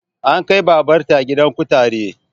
An kai babar ta gidan kutare